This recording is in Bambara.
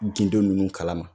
Gindo ninnu kala ma